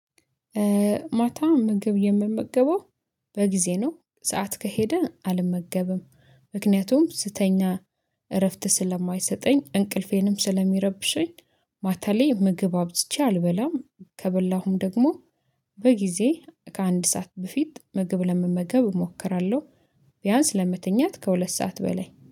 ማታ ምግብ የምመገበው በጊዜ ነው ሰዓት ከሄደ አልመገበም ምክንያቱም ስተኛ እረፍት ስለማይሰጠኝ እንቅልፌንም ስለሚረብሸኝ። ማታ ላይ ምግብ አብዝቼ አልበላም ከበላሁም ደግሞ በጊዜ ከአንድ ሰዓት በፊት ምግብ ለመመገብ እሞክራለሁ። ቢያንስ ለምትኛት ከሁለት ሰዓት በላይ